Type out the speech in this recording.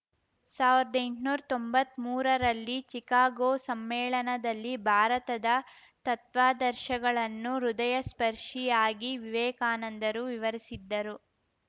ಸಾವಿರ್ದ್ ಎಂಟ್ನೂರ್ ತೊಂಬತ್ಮೂರರಲ್ಲಿ ಚಿಕಾಗೊ ಸಮ್ಮೇಳನದಲ್ಲಿ ಭಾರತದ ತತ್ವಾದರ್ಶಗಳನ್ನು ಹೃದಯಸ್ಪರ್ಶಿಯಾಗಿ ವಿವೇಕಾನಂದರು ವಿವರಿಸಿದ್ದರು